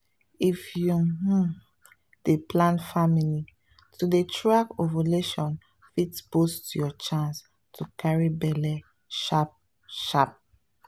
if you um dey plan family to dey track ovulation fit boost your chance to carry belle sharp sharp.